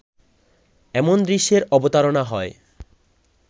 এমন দৃশ্যের অবতারনা হয়